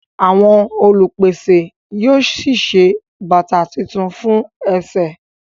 Àwọn olupese yíò sí ṣe bàtá títún fún èsè.